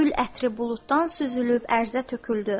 Gül ətri buluddan süzülüb ərzə töküldü.